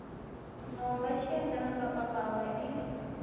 miomva tshienge na mapapawe i